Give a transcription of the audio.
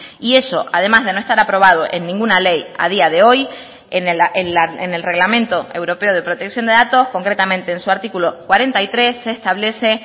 y eso además de no estar aprobado en ninguna ley a día de hoy en el reglamento europeo de protección de datos concretamente en su artículo cuarenta y tres se establece